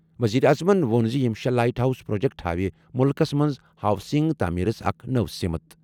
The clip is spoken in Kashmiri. وزیر اعظمن ووٚن زِ یِم شےٚ لائٹ ہاؤس پروجیکٹ ہاوِ مُلکَس منٛز ہاؤسنگ تعمیرس اکھ نٔو سمت۔